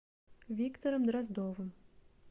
виктором дроздовым